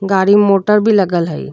गाड़ी मोटर भी लगल हाई।